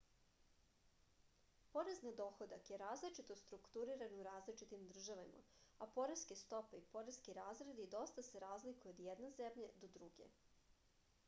porez na dohodak je različito strukturisan u različitim državama a poreske stope i poreski razredi dosta se razlikuju od jedne zemlje do druge